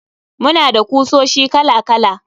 Muna da kusoshi kala kala.